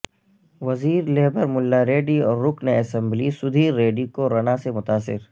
وزیر لیبر ملا ریڈی اور رکن اسمبلی سدھیر ریڈی کورونا سے متاثر